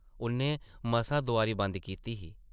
उʼन्नै मसां दोआरी बंद कीती ही ।